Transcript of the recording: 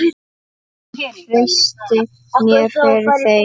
Hann treysti mér fyrir þeim.